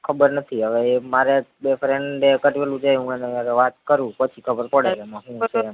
ખબર નથી હવે ઈ મારે બે friend એ કાધ્વેલું છે હું એની હારે વાત કરું પછી ખબર પડે એમાં હું છે